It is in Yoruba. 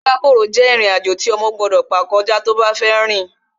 Rírákò jẹ́ ìrìn-àjò tí ọmọ gbọ́dọ̀ gbà kọjá tó bá fẹ́ rìn